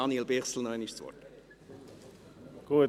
– Dann erteile ich noch einmal Daniel Bichsel das Wort.